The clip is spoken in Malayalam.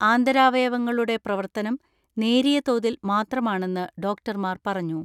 ആന്തരാവയവങ്ങളുടെ പ്രവർത്തനം നേരിയ തോതിൽ മാത്രമാണെന്ന് ഡോക്ടർമാർ പറഞ്ഞു.